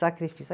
Sacrifício.